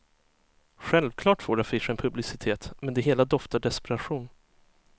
Självklart får affischen publicitet, men det hela doftar desperation.